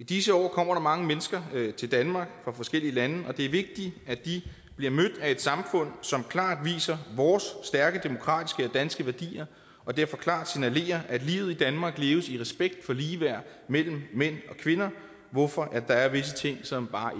i disse år kommer der mange mennesker til danmark fra forskellige lande og det er vigtigt at de bliver mødt af et samfund som klart viser vores stærke demokratiske danske værdier og derfor klart signalerer at livet i danmark leves i respekt for ligeværd mellem mænd og kvinder hvorfor der er visse ting som bare